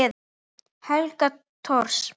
Helga Thors.